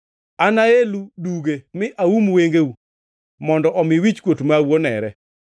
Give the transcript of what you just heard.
Anaelu duge mi aum wengeu mondo omi wichkuot mau onere,